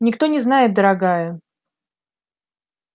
никто не знает дорогая